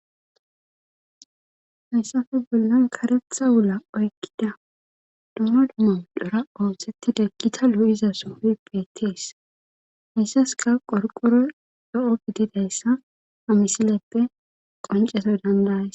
Hayssafe bollan karetha wula oykkida dumma dumma medhara oosettida gita lo7iza pooqey beettees hayssaskka qorqqoroy zo7o gididayssa ha misileppe qonccana dandda7ays.